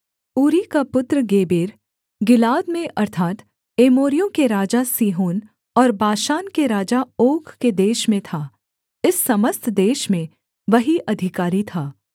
ऊरी का पुत्र Geber Gilead में अर्थात् एमोरियों के राजा सीहोन और बाशान के राजा ओग के देश में था इस समस्त देश में वही अधिकारी था